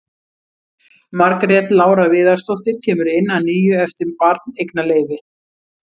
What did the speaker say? Margrét Lára Viðarsdóttir kemur inn að nýju eftir barneignarleyfi.